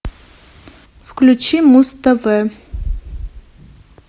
включи муз тв